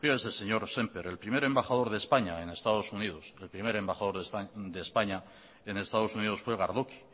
fíjese señor semper el primer embajador de españa en estados unidos fue gardoqui